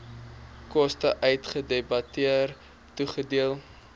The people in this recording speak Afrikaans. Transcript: koste uitgedebiteer toegedeel